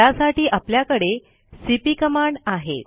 त्यासाठी आपल्याकडे CP command आहे